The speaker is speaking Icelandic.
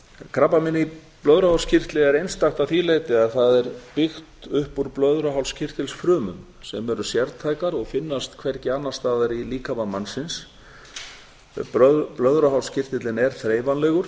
krabbamein í blöðruhálskirtli er einstakt að því leyti að það er byggt upp úr blöðruhálskirtilsfrumum sem eru sértækar og finnast hvergi annars staðar í líkama mannsins blöðruhálskirtillinn er þreifanlegur